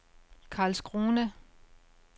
Karlskrona